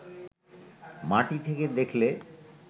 মাটি থেকে দেখলে